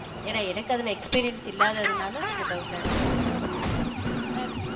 ஏன்னா எனக்கு அதுல experience இல்லாததுனால கொஞ்சம் doubt ஆ இருக்கு